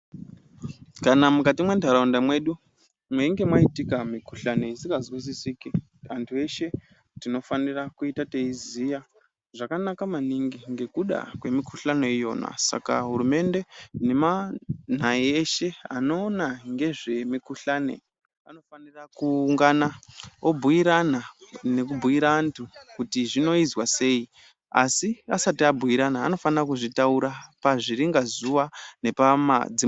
Kana mukati mwe ntaraunda medu ,meninge maitika mikhuhlani isinga zwisisiki antu eshe tinofanira kuita teiziya zvakanaka maningi ngekuda kwemikhuhlani iyona Saka hurumende nemanhai eshe anoona ngezve mikhuhlani anofanira kuungana obhiirana nekubhiira antu kuti zvizwa sei asi asati abhirana anofanirwa kizvitaura pazviringa zuwa.